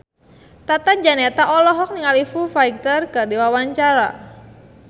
Tata Janeta olohok ningali Foo Fighter keur diwawancara